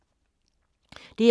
DR2